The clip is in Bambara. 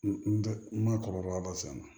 N tɛ n ma kɔlɔlɔ ba san a la